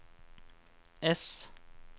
S